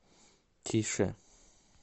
тише